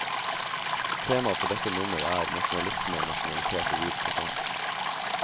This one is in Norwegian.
Temaet for dette nummer er, nasjonalisme og nasjonalitet i vid forstand.